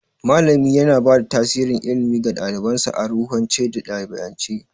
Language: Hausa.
Malami yana bada tasirin ilimi ga ɗalibansa a ruhance da ɗabi'ance.